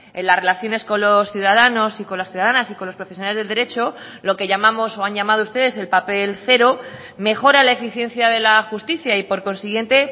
en las relaciones con los ciudadanos y con las ciudadanas y con los profesionales del derecho lo que llamamos o han llamado ustedes el papel cero mejora la eficiencia de la justicia y por consiguiente